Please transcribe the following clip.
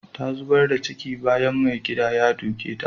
Ta zubar da ciki bayan da maigidan ya duke ta.